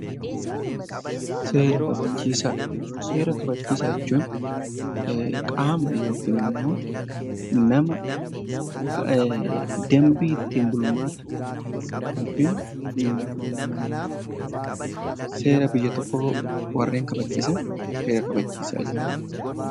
Seera kabachiisaa jechuun qaama yookaan immoo nama dambii ittiin bulmaata yookiin seera biyya tokkoo warreen kabachiisan seera kabachiisaa jedhamu.